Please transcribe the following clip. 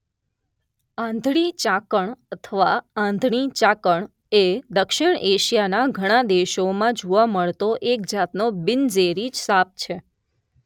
આંધળી ચાકણ અથવા આંધળી ચાકળ એ દક્ષિણ એશિયાના ઘણા દેશોમાં જોવા મળતો એક જાતનો બિનઝેરી સાપ છે